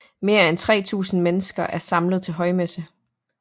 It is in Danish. Mere end 3000 mennesker er samlet til højmesse